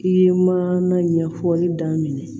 I ye mana ɲɛfɔli daminɛ